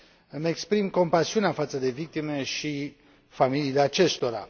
Îmi exprim compasiunea față de victime și familiile acestora.